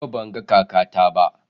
Yau ban ga kakata ba.